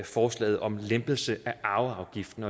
forslaget om en lempelse af arveafgiften